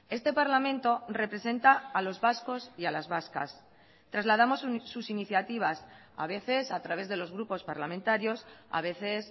este parlamento representa a los vascos y a las vascas trasladamos sus iniciativas a veces a través de los grupos parlamentarios a veces